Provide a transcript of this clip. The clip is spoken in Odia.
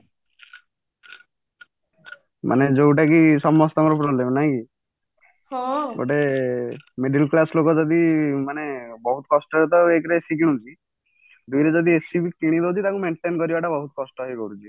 ମାନେ ଯୋଉଟା କି ସମସ୍ତଙ୍କର problem ନାଇକି ଗୋଟେ middle class ଲୋକ ଯଦି ବହୁତ କଷ୍ଟରେ ରେ ତ ଏକ ରେ AC କିଣୁଛି ଦୁଇରେ ଯଦି AC କିଣିବ ଯଦି ତାକୁ maintain କରିବାଟା ବହୁତ କଷ୍ଟ ହେଇପଡୁଛି